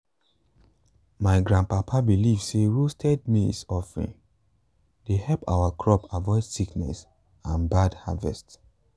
my grandpapa believe say roasted maize offering dey help our crops avoid sickness and bad harvest.